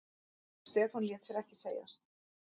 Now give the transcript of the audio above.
Stefán lét sér ekki segjast.